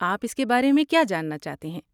آپ اس کے بارے میں کیا جاننا چاہتے ہیں؟